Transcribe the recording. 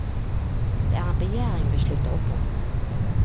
Det er en begjæring vi slutter opp om.